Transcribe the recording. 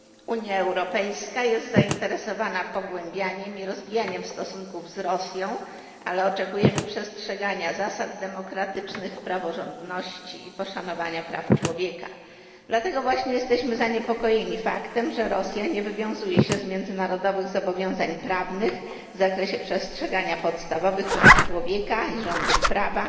Unia Europejska jest zainteresowana pogłębianiem i rozwijaniem stosunków z Rosją, ale oczekujemy przestrzegania zasad demokratycznych, praworządności i poszanowania praw człowieka. Dlatego właśnie jesteśmy zaniepokojeni faktem, że Rosja nie wywiązuje się z międzynarodowych zobowiązań prawnych w zakresie przestrzegania podstawowych praw człowieka i rządów prawa